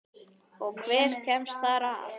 Og hver kemst þar að?